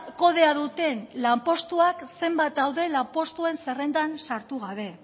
kodea duten lanpostuak zenbat daude lanpostuen zerrendan sartu gabe